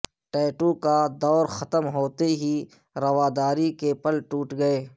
tattoo کا دور ختم ہوتے ہی روادری کے پل ٹوٹ گئے